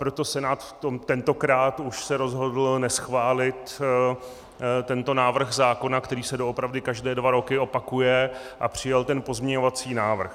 Proto Senát tentokrát už se rozhodl neschválit tento návrh zákona, který se doopravdy každé dva roky opakuje, a přijal ten pozměňovací návrh.